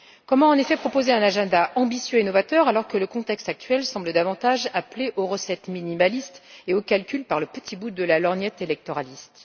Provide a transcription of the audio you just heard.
Comment, en effet, proposer un programme ambitieux et novateur alors que le contexte actuel semble davantage appeler aux recettes minimalistes et aux calculs par le petit bout de la lorgnette électoraliste?